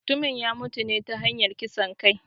Mutumin ya mutune ta hanyar kisan kai